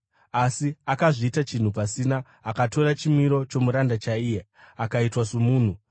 asi akazviita chinhu pasina, akatora chimiro chomuranda chaiye, akaitwa somunhu.